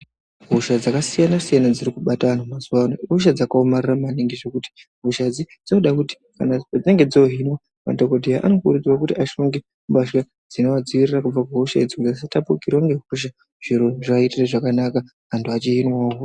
Hosha dzakasiyana siyana dziri kubata antu mazuvaano ihosha dzakaomarara maningi zvekuti padzinenge dzohinwa madhokodheya anokurudzirwa kuti ashonge mbasha dzinoadzivirira kubva kuhosha dzona idzo asatapukirwe ngehosha antu eihinwa zviro zvoite zvakanaka.